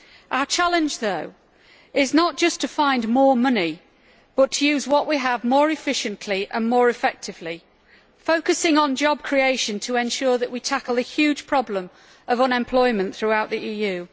Our challenge, though, is not just to find more money, but to use what we have more efficiently and more effectively, focusing on job creation to ensure that we tackle the huge problem of unemployment throughout the EU.